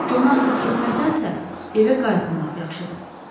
Conu atıb getməkdənsə, evə qayıtmamaq yaxşıdır.